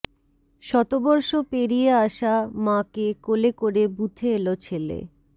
শতবর্ষ পেরিয়ে আসা মাকে কোলে করে বুথে এল ছেলে